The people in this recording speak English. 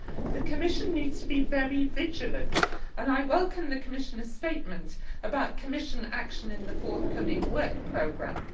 The Commission needs to be very vigilant and I welcome the Commissioner's statement about Commission action in the forthcoming work programme.